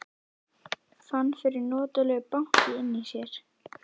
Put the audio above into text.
Fann fyrir notalegu banki inni í sér.